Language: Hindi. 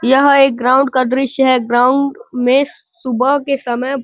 यहाँ एक ग्राउंड का दृस्य है। ग्राउंड में सुबह के समय --